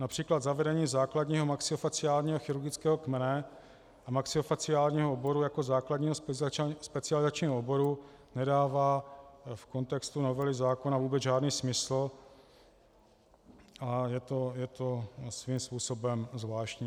Například zavedení základního maxilofaciálního chirurgického kmene a maxilofaciálního oboru jako základního specializačního oboru nedává v kontextu novely zákona vůbec žádný smysl a je to svým způsobem zvláštní.